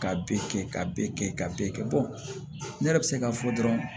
Ka bɛɛ kɛ ka bɛɛ kɛ ka bɛɛ kɛ ne yɛrɛ bɛ se k'a fɔ dɔrɔn